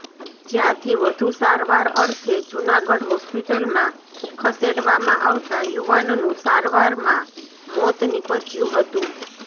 જયાંથી વધુ સારવાર અર્થે જુનાગઢ હોસ્પિટલમાં ખસેડવામાં આવતા યુવાનનું સારવારમાં મોત નિપજયું હતું